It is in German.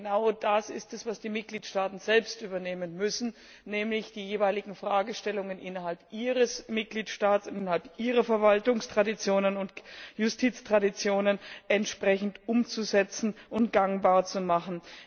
Denn genau das ist es, was die Mitgliedstaaten selbst übernehmen müssen, nämlich die jeweiligen Fragestellungen innerhalb ihres Mitgliedstaats, innerhalb ihrer Verwaltungstraditionen und Justiztraditionen entsprechend umzusetzen und gangbar zu machen.